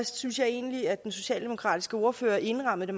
synes egentlig at den socialdemokratiske ordfører indrammede